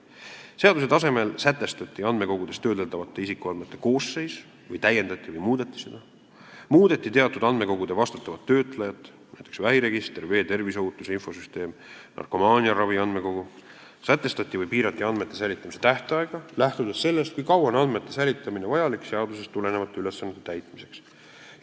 Seaduse tasemel sätestati andmekogudes töödeldavate isikuandmete koosseis või täiendati või muudeti seda; muudeti teatud andmekogude vastutavat töötlejat ; sätestati või piirati andmete säilitamise tähtaega, lähtudes sellest, kui kaua on andmete säilitamine vajalik seadusest tulenevate ülesannete täitmiseks.